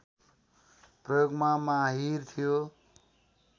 प्रयोगमा माहिर थियो